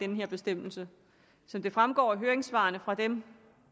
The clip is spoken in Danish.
den her bestemmelse som det fremgår af høringssvarene fra dem